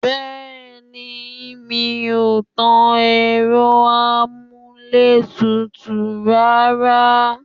Bẹẹni, mi ò tan Ẹ̀rọ-amuletutu rárá.